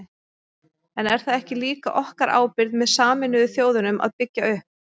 En er það ekki líka okkar ábyrgð með Sameinuðu þjóðunum að byggja upp?